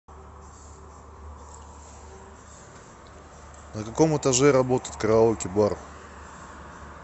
на каком этаже работает караоке бар